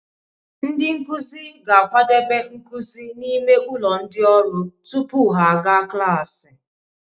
Ndị nkuzi ga-akwadebe nkuzi n'ime ụlọ ndị ọrụ tupu ha aga klaasị